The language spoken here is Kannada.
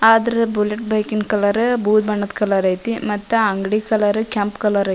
ಅದ್ರ ಬುಲೆಟ್ ಬೈಕ್ ನ ಕಲರ್ ಬೂದು ಬಣ್ಣದ ಕಲರ್ ಐತಿ ಮತ್ತ ಅಂಗಡಿ ಕಲರ್ ಕೆಂಪ್ ಕಲರ್ ಐತಿ .